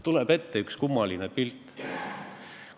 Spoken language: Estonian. Tuleb ette üks kummaline pilt.